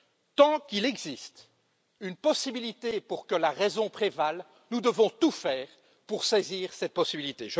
Tant qu'il existe une possibilité pour que la raison prévale, nous devons tout faire pour saisir cette possibilité.